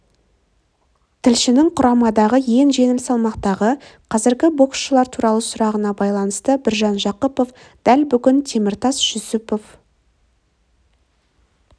тілшінің құрамадағы ең жеңіл салмақтағы қазіргі боксшылар туралы сұрағына байланысты біржан жақыпов дәл бүгін теміртас жүсіпов